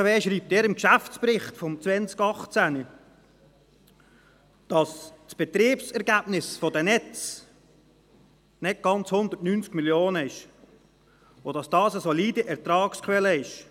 Die BKW schreibt in ihrem Geschäftsbericht 2018, dass das Betriebsergebnis der Netze nicht ganz 190 Mio. Franken beträgt und dass dies eine solide Ertragsquelle ist.